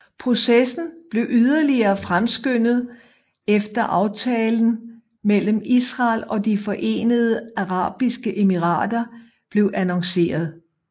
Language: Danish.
Processen blev yderligere fremskyndet efter aftalen mellem Israel og De Forenede Arabiske Emirater blev annonceret